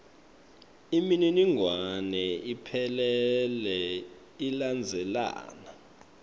imininingwane iphelele ilandzelana